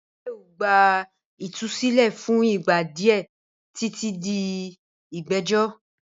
Bail gba ìtúsílẹ̀ fún ìgbà díẹ̀ títí di ìgbẹ́jọ́